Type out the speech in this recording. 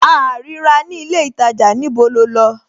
A à rí ra ní ilé ìtajà, níbo lo lọ?